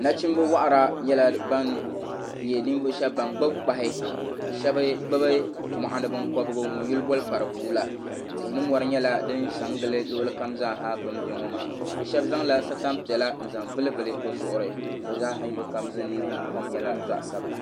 Nachinna waɣira nyɛla ban nyɛ ninvuɣu shɛba ban gbubi kpahi ka shɛba gbubi mɔɣuni binkɔbgu ŋun yuli boli kparibua la tihi ni mɔri nyɛla din sa n gili luɣuli kama zaa ha bi ni bɛ ŋɔ maa bi shɛba zaŋ satan piɛlla n zaŋ vuli vuli bi zuɣiri bi zaa ha yino kam ningbun kɔm nyɛla zaɣa sabila.